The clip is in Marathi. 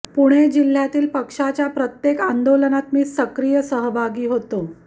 पुणे जिल्ह्यातील पक्षाच्या प्रत्येक आंदोलनात मी सक्रिय सहभागी होतो